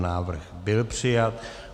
Návrh byl přijat.